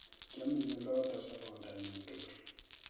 Kiameny oloto sobondo nyu tugul